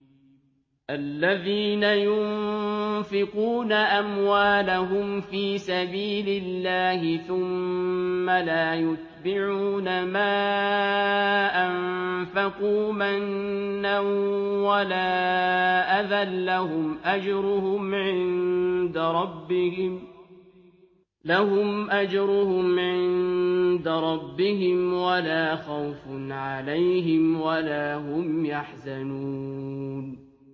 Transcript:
الَّذِينَ يُنفِقُونَ أَمْوَالَهُمْ فِي سَبِيلِ اللَّهِ ثُمَّ لَا يُتْبِعُونَ مَا أَنفَقُوا مَنًّا وَلَا أَذًى ۙ لَّهُمْ أَجْرُهُمْ عِندَ رَبِّهِمْ وَلَا خَوْفٌ عَلَيْهِمْ وَلَا هُمْ يَحْزَنُونَ